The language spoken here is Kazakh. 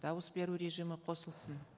дауыс беру режимі қосылсын